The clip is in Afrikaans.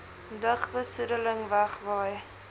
lugbe soedeling wegwaai